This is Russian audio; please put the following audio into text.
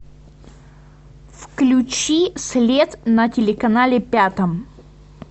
включи след на телеканале пятом